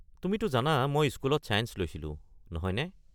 তুমিটো জানা মই স্কুলত ছায়েঞ্চ লৈছিলো নহয়নে?